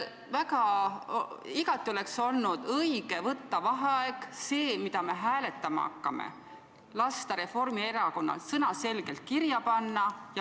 Igati õige oleks olnud välja kuulutada vaheaeg, et lasta see, mida me hääletama hakkame, Reformierakonnal selge sõnaga kirja panna.